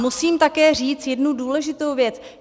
Musím také říct jednu důležitou věc.